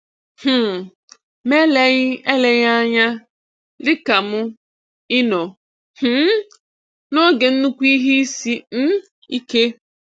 um Ma eleghị eleghị anya, dị ka m, ị nọ um n'oge nnukwu ihe isi um ike.